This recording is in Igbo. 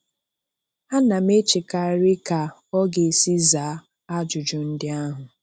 Ana m echekarị ka ọ ga-esi zaa ajụjụ ndị ahụ.